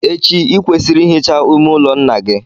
Echi, ị kwesịrị ị hicha ime ụlọ nna gị.